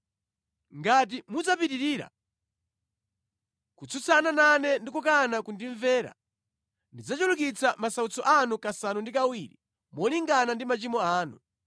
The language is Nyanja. “ ‘Ngati mudzapitirira kutsutsana nane ndi kukana kundimvera, ndidzachulukitsa masautso anu kasanu ndi kawiri molingana ndi machimo anu.